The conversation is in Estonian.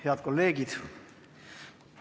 Head kolleegid!